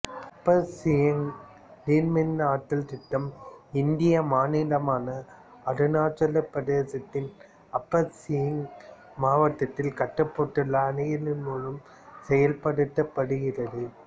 அப்பர் சியாங் நீர்மின்னாற்றல் திட்டம் இந்திய மாநிலமான அருணாச்சலப் பிரதேசத்தின் அப்பர் சியாங் மாவட்டத்தில் கட்டப்பட்டுள்ள அணைகளின் மூலம் செயல்படுத்தப்படுகிறது